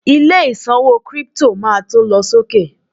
ilé ìṣòwò crypto ma to lọ sókè